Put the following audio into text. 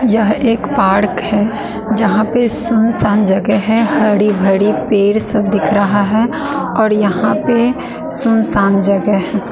यह एक पार्क है जहां पे सुनसान जगह है हड़े भड़े पेर सब दिख रहा है और यहां पे सुनसान जगह है।